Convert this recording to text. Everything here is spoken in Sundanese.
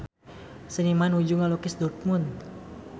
Seniman nuju ngalukis Dortmund